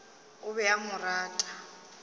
o be a mo rata